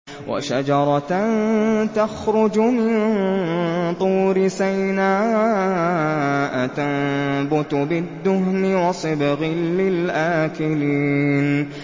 وَشَجَرَةً تَخْرُجُ مِن طُورِ سَيْنَاءَ تَنبُتُ بِالدُّهْنِ وَصِبْغٍ لِّلْآكِلِينَ